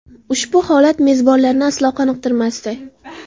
Ushbu holat mezbonlarni aslo qoniqtirmasdi.